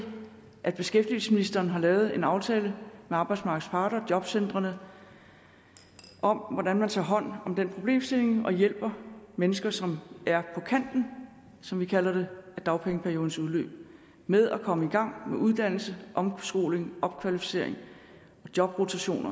at beskæftigelsesministeren har lavet en aftale med arbejdsmarkedets parter og jobcentrene om om hvordan man tager hånd om den problemstilling og hjælper mennesker som er på kanten som vi kalder det af dagpengeperiodens udløb med at komme i gang med uddannelse omskoling opkvalificering jobrotation